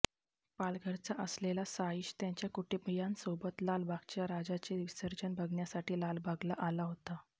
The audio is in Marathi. पालघरचा असलेला साईश त्याच्या कुटुंबीयांसोबत लालबागच्या राजाचे विसर्जन बघण्यासाठी लालबागला आला होता